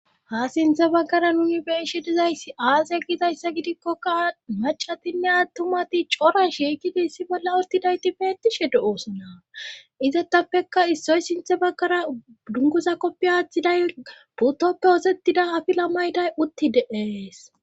ha sinthe baggara nuni beishe dizayssi aase gidayssa gidikkoka macatinne attumati core shiikidi issi bolla urtidayti beettishe du oosona izettappekka issoy sinthe baggara dungoza koppi aaththiday putoppe osettida afila mayday uttide ees